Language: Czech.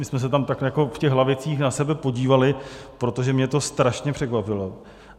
My jsme se tam tak jako v těch lavicích na sebe podívali, protože mě to strašně překvapilo.